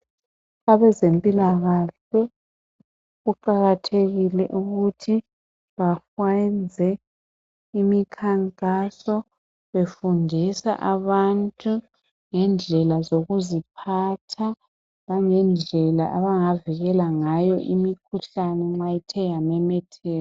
Abazempilakahle kuqakathekile ukuthi bafanze imikhankaso befundisa abantu ngendlela zokuziphatha langendlela abangavikela ngayo imikhuhlane nxa ithe yamemetheka.